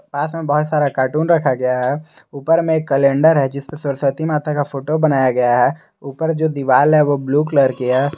पास में बहुत सारा कार्टून रखा गया है ऊपर में कैलेंडर है जिसमें सरस्वती माता का फोटो बनाया गया है ऊपर जो दीवाल है वो ब्लू कलर की है।